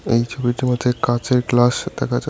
এই ছবিটির মধ্যে কাচের গ্লাস দেখা যায়।